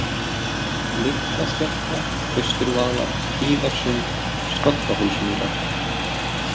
Litla-Skertla, Austurvaðlar, Hlíðarsund, Skollahólsmýrar